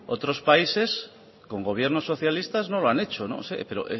otros países con gobiernos socialistas no lo han hecho pero